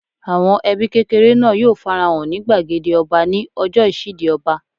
Àwọn ẹbí kékeré náà yóò fara hàn ní gbàgede ọba ní ọjọ́ ìṣíde ọba